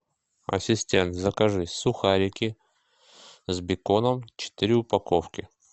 ассистент закажи сухарики с беконом четыре упаковки